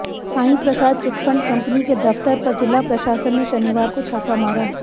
Saiprasad chit fund company के दफ्तर पर जिला प्रशासन ने शनिवार को छापा मारा